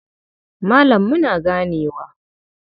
Malam muna ganewa.